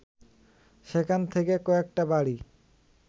সেখান থেকে কয়েকটা বাড়ি